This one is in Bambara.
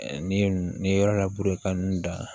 Ni n'i ye yɔrɔ labure ka n da